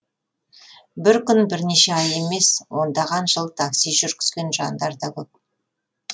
бір күн бірнеше ай емес ондаған жыл такси жүргізген жандар да көп